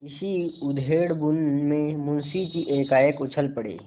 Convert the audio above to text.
इसी उधेड़बुन में मुंशी जी एकाएक उछल पड़े